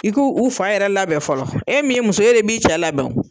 I ko u fa yɛrɛ labɛn fɔlɔ, e min ye muso ye e de b'i cɛ labɛn o.